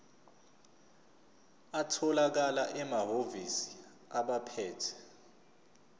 atholakala emahhovisi abaphethe